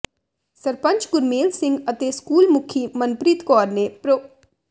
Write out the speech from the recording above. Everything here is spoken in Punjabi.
ਸਰਪੰਚ ਗੁਰਮੇਲ ਸਿੰਘ ਅਤੇ ਸਕੂਲ ਮੁਖੀ ਮਨਪ੍ਰੀਤ ਕੌਰ ਨੇ ਪ੍ਰੋ